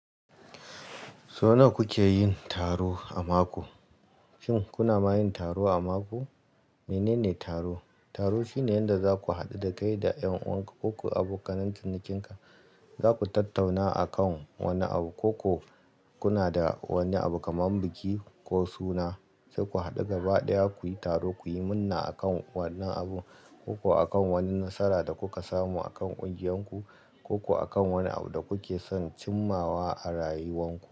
So nawa kuke yin taro, a mako? Shin kuna ma yin taro a mako? Menene taro? Taro shine yadda zaku haɗu da kai da ƴan uwan ka koko a bokanen cinikinka. Zaku tattauna akan wani abu, koko suna da wani abu kamar biki ko suna. Sai ku haɗu gaba ɗaya, kuyi taro, kuyi munna akan wannan abu, koko akan wani nasara da kuka samu akan ƙungiyanku, koko akan wani abu da kuke son cimmawa a rayuwan ku.